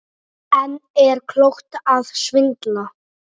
En er klókt að svindla?